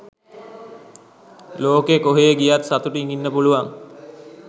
ලොකෙ කොහේ ගියත් සතුටින් ඉන්න පුළුවන්.